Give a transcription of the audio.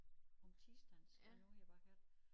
Om tirsdagen skal jeg ud her bagefter